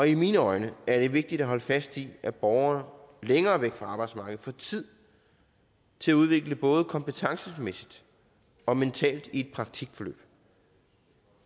i mine øjne er det vigtigt at holde fast i at borgere længere væk fra arbejdsmarkedet får tid til at udvikle sig både kompetencemæssigt og mentalt i et praktikforløb